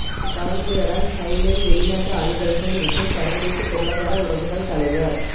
இக்கலந்துரையாடல் ஹைனேங் வெளிநாட்டு அலுவல்கள் மற்றும் சர்வதேச பொருளாதார உறவுகள் தலைவர்